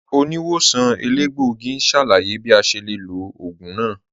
Oníwòsàn èlégbògì n ṣálàyé bí à ṣe lè lọ̀ oogun náà